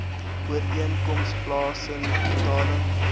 ooreenkoms plaasen betaling